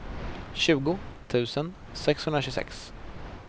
tjugo tusen sexhundratjugosex